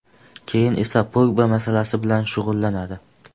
Keyin esa Pogba masalasi bilan shug‘ullanadi.